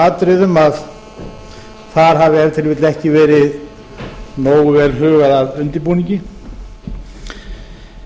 atriðum að þar hafi ef til vill ekki verið nógu vel hugað að undirbúningi en